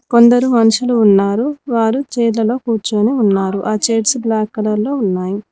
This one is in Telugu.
కొందరు మనుషులు ఉన్నారు వారు చైర్ లలో కూర్చొని ఉన్నారు ఆ చైర్స్ బ్లాక్ కలర్లో ఉన్నాయి.